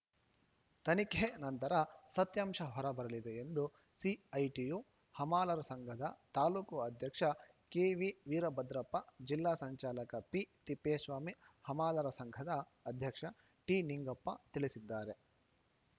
ತನಿಖೆ ನಂತರ ಸತ್ಯಾಂಶ ಹೊರ ಬರಲಿದೆ ಎಂದು ಸಿಐಟಿಯು ಹಮಾಲರ ಸಂಘದ ತಾಲೂಕು ಅಧ್ಯಕ್ಷ ಕೆವಿ ವೀರಭದ್ರಪ್ಪ ಜಿಲ್ಲಾ ಸಂಚಾಲಕ ಪಿ ತಿಪ್ಪೇಸ್ವಾಮಿ ಹಮಾಲರ ಸಂಘದ ಅಧ್ಯಕ್ಷ ಟಿನಿಂಗಪ್ಪ ತಿಳಿಸಿದ್ದಾರೆ